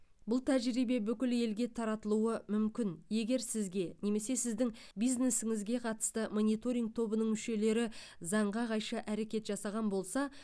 бұл тәжірибе бүкіл елге таратылуы мүмкін егер сізге немесе сіздің бизнесіңізге қатысты мониторинг тобының мүшелері заңға қайшы әрекет жасаған болса